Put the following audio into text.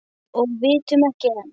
Og vitum ekki enn.